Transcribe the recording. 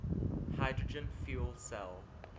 hydrogen fuel cell